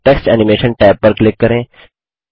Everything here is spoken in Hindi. टेक्स्ट एनिमेशन टैब पर क्लिक करें